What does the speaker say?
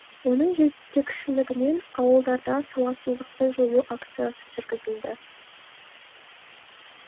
оның жетекшілігімен ауылдарда сауатсыздықты жою акциясы жүргізілді